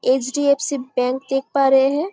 HDFC. Bank देख पा रहे है।